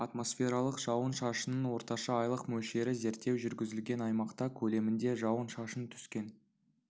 атмосфералық жауын-шашынның орташа айлық мөлшері зерттеу жүргізілген аймақта көлемінде жауын-шашын түскен